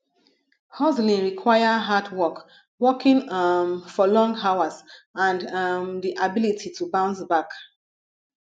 hustling require hard work working um for long hours and um di ability to bounce back